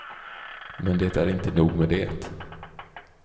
Men det är inte nog med det.